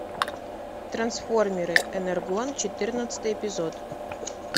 трансформеры энергон четырнадцатый эпизод